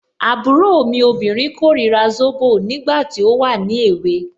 Àbúrò mi obìnrin korira zobo, nígbà tí ó wà ní èwe.